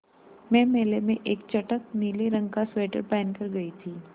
मैं मेले में एक चटख नीले रंग का स्वेटर पहन कर गयी थी